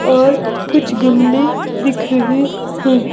और कुछ गमले दिख रहे हैं।